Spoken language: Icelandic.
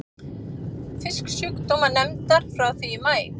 Fisksjúkdómanefndar frá því í maí.